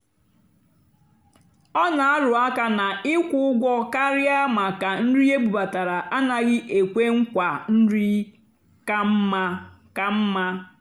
ọ́ nà-àrụ́ àká nà ị́kwụ́ ụ́gwọ́ kàrị́á màkà nrì ébúbátárá ánàghị́ ékwé nkwaà nrì kà mmá. kà mmá.